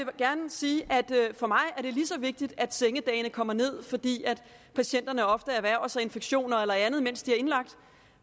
gerne sige at for mig er det lige så vigtigt at sengedagene kommer ned fordi patienterne ofte erhverver sig infektioner eller andet mens de er indlagt